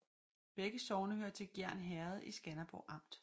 Begge sogne hørte til Gjern Herred i Skanderborg Amt